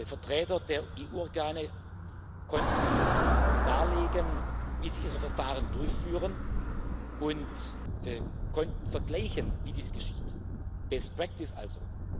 Vertreter der EU Organe konnten darlegen, wie sie ihre Verfahren durchführen, und konnten vergleichen, wie dies geschieht Best Practice also.